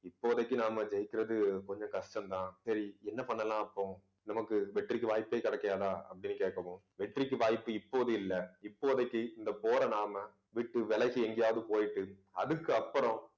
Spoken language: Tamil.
இப்போதைக்கு நாம ஜெயிக்கிறது கொஞ்சம் கஷ்டம் தான். சரி என்ன பண்ணலாம் அப்போ நமக்கு வெற்றிக்கு வாய்ப்பே கிடைக்காதா அப்பிடின்னு கேட்கவும் வெற்றிக்கு வாய்ப்பு இப்போது இல்லை. இப்போதைக்கு இந்த போரை நாம விட்டு விலகி எங்கேயாவது போயிட்டு அதுக்கு அப்புறம்